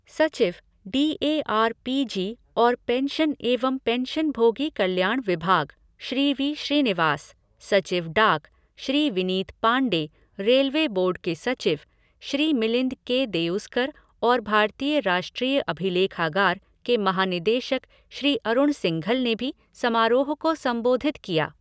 सचिव, D A R P G और pension एवं पेंशनभोगी कल्याण विभाग, श्री वी श्रीनिवास, सचिव डाक, श्री विनीत पांडे, रेलवे बोर्ड के सचिव, श्री मिलिंद के देउस्कर और भारतीय राष्ट्रीय अभिलेखागार के महानिदेशक श्री अरुण सिंघल ने भी समारोह को संबोधित किया।